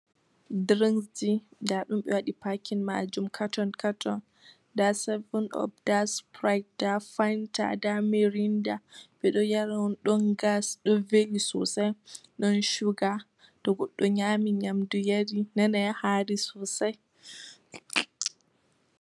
Drinksji, nda ɗum ɓe waɗi packing maajum katon- katon. Nda savun op, nda sprait, nda fanta, nda mirinda. Ɓe ɗo yara on, ɗon gas, ɗo veli sosai, ɗon shuga. To goɗɗo nyaami nyamdu yari nanai haari sosai.